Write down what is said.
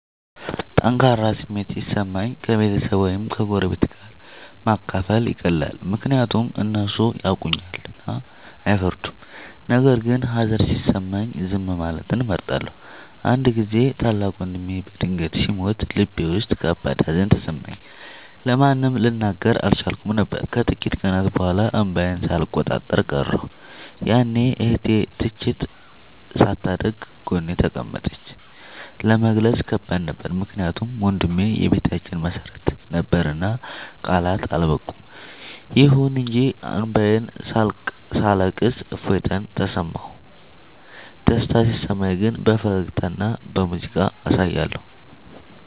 ጠንካራ ስሜት ሲሰማኝ ከቤተሰብ ወይም ከጎረቤት ጋር ማካፈል ይቀላል፤ ምክንያቱም እነሱ ያውቁኛልና አይፈርዱም። ነገር ግን ሀዘን ሲሰማኝ ዝም ማለትን እመርጣለሁ። አንድ ጊዜ ታላቅ ወንድሜ በድንገት ሲሞት ልቤ ውስጥ ከባድ ሀዘን ተሰማኝ፤ ለማንም ልናገር አልቻልኩም ነበር። ከጥቂት ቀናት በኋላ እንባዬን ሳልቆጣጠር ቀረሁ፤ ያኔ እህቴ ትችት ሳታደርግ ጎኔ ተቀመጠች። ለመግለጽ ከባድ ነበር ምክንያቱም ወንድሜ የቤታችን መሰረት ነበርና ቃላት አልበቁም። ይሁን እንጂ እንባዬን ሳለቅስ እፎይታ ተሰማሁ። ደስታ ሲሰማኝ ግን በፈገግታና በሙዚቃ አሳያለሁ።